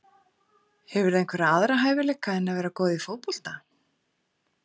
Hefurðu einhverja aðra hæfileika en að vera góð í fótbolta?